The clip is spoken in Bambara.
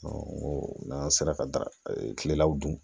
n'an sera ka da kilelaw dun